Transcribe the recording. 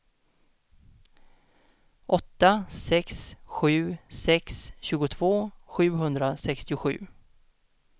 åtta sex sju sex tjugotvå sjuhundrasextiosju